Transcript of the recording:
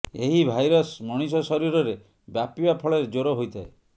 ଏହି ଭାଇରସ ମଣିଷ ଶରୀରରେ ବ୍ୟାପିବା ଫଳରେ ଜ୍ୱର ହୋଇଥାଏ